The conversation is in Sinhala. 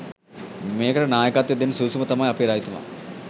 මේකට නායකත්වය දෙන්න සුදුසුම තමයි අපේ රජතුමා.